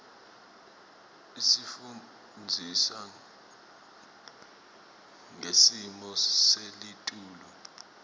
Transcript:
isifundzisa ngesmo selitulu